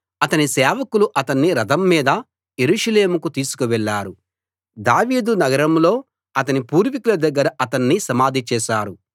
అతని సేవకులు అతణ్ణి రథం మీద యెరూషలేముకు తీసుకు వెళ్ళారు దావీదు నగరంలో అతని పూర్వీకుల దగ్గర అతణ్ణి సమాధి చేశారు